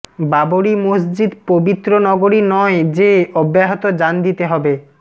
বাবরি মসজিদ পবিত্র নগরী নয় যে অব্যাহত জান দিতে হবে